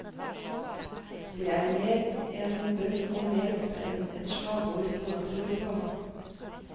Det er mer en bønn om hjelp enn et slagord noen tror på.